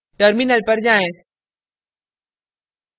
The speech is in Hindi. terminal पर जाएँ